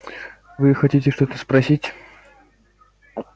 вы хотите что-то спросить